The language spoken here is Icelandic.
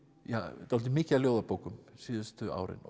dálítið mikið af ljóðabókum síðustu árin